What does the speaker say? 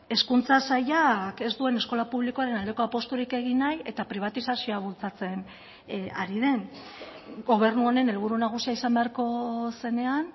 hezkuntza sailak ez duen eskola publikoaren aldeko apusturik egin nahi eta pribatizazioa bultzatzen ari den gobernu honen helburu nagusia izan beharko zenean